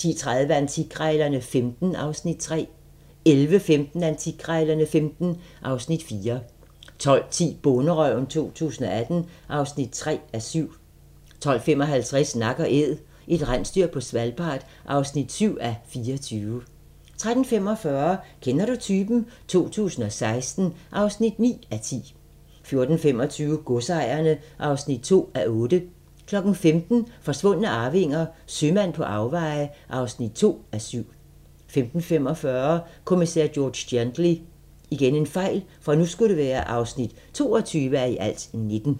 10:30: Antikkrejlerne XV (Afs. 3) 11:15: Antikkrejlerne XV (Afs. 4) 12:10: Bonderøven 2018 (3:7) 12:55: Nak & Æd - et rensdyr på Svalbard (7:24) 13:45: Kender du typen? 2016 (9:10) 14:25: Godsejerne (2:8) 15:00: Forsvundne arvinger: Sømand på afveje (2:7) 15:45: Kommissær George Gently (22:19)